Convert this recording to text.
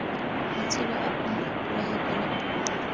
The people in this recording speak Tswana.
matsheloa bona ipolaya kwala puo